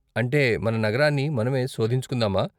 అంటే, మన నగరాన్ని మనమే శోధించుకుందామా?